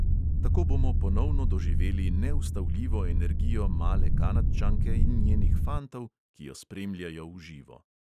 Tako bomo ponovno doživeli neustavljivo energijo male kanadčanke in njenih fantov, ki jo spremljajo v živo.